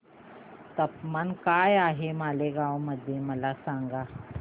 तापमान काय आहे मालेगाव मध्ये मला सांगा